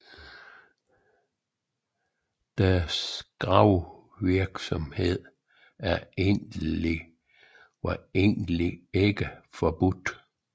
Deres gravevirksomhed var egentlig ikke forbudt